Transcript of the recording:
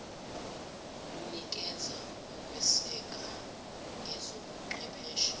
lunikeza ukweseka ngezobuchwepheshe